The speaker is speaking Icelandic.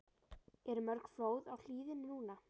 Eru mörg flóð á hlíðinni núna?